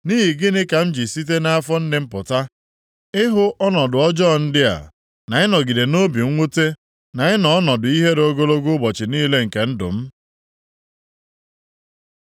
Nʼihi gịnị ka m ji site nʼafọ nne m pụta ịhụ ọnọdụ ọjọọ ndị a, na ịnọgide nʼobi mwute, na ịnọ ọnọdụ ihere ogologo ụbọchị niile nke ndụ m?